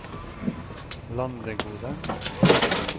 Landegode